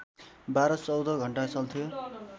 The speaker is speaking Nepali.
१२ १४ घण्टा चल्थ्यो